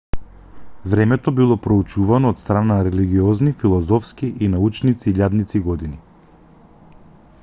времето било проучувано од страна на религиозни филозофски и научници илјадници години